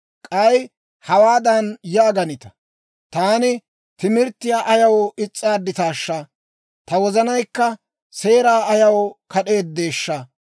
K'ay hawaadan yaaganita; «Taan timirttiyaa ayaw is's'aaditaashsha! Ta wozanaykka seeraa ayaw kad'eeddeeshsha!